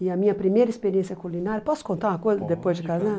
E a minha primeira experiência culinária... Posso contar uma coisa depois de casar?